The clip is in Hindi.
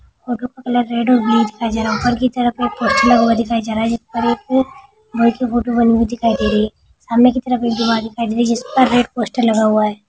सामने की तरफ एक दीवाल दिखाई दे रही है जिस पर रेड पोस्टर लगा हुआ है।